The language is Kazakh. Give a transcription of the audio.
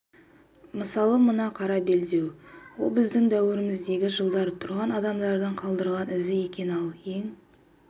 мысалы мына қара белдеу біздің дәуіріміздегі жылдары тұрған адамдардың қалдырған ізі екен ал ең